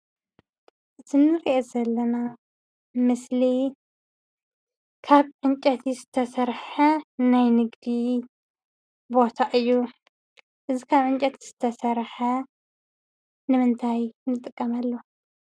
እዚ ንሪኦ ዘለና ምስሊ ካብ ዕንጨይቲ ዝተሰርሐ ናይ ንግዲ ቦታ እዩ፡፡ እዚ ካብ ዕንጨይቲ ዝተሰርሐ ንምንታይ ንጥቀመሉ?